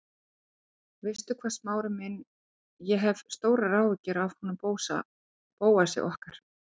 Veistu hvað, Smári minn, ég hef stórar áhyggjur af honum Bóasi okkar.